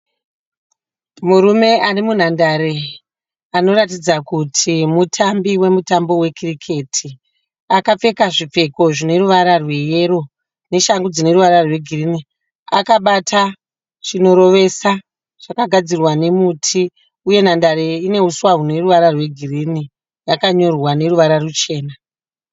Murume ari munhandare anotaridza kuti mutambi wemutambo wekiriketi akapfeka zvipfeko zvine ruvarwa rweyero, neshangu dzine ruvara rwegirini akababta chimuti chinorovesa chakagadzirwa nemuti, uye nhandare iyi yakanyorwa neruvara rwuchena